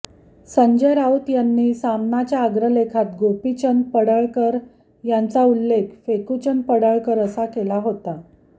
संजय राऊत यांनी सामनाच्या अग्रलेखात गोपीचंद पडळकर यांचा उल्लेख फेकूचंद पडळकर असा केला होता